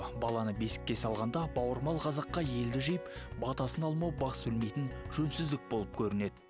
баланы бесікке салғанда бауырмал қазаққа елді жиып батасын алмау бас білмейтін жөнсіздік болып көрінеді